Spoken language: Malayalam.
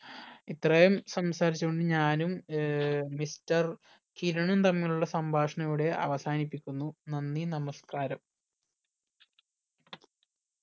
ഇത്രയും സംസരിച്ച് കൊണ്ട് ഞാനും ഏർ mister കിരണും തമ്മിലുള്ള സംഭാഷണം ഇവിടെ അവസാനിപ്പിക്കുന്നു നന്ദി നമസ്ക്കാരം